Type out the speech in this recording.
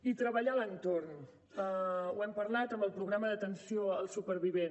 i treballar l’entorn ho hem parlat amb el programa d’atenció al supervivent